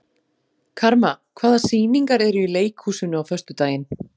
Karma, hvaða sýningar eru í leikhúsinu á föstudaginn?